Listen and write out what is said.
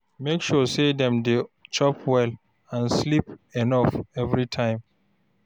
Make sure say dem dey chop well and sleep enough every time